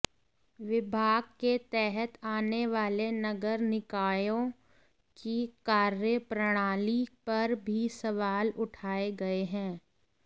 विभाग के तहत आने वाले नगर निकायों की कार्यप्रणाली पर भी सवाल उठाए गए हैं